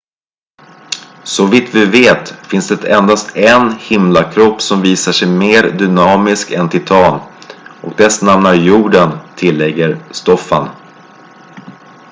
så vitt vi vet finns det endast en himlakropp som visar sig mer dynamisk än titan och dess namn är jorden tillägger stofan